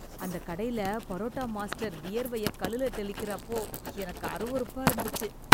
அந்த கடைல பரோட்டா மாஸ்டர் வியர்வைய கல்லுல தெளிக்கிற அப்போ எனக்கு அருவருப்பா இருந்துச்சு